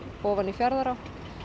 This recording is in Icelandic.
ofan í Fjarðará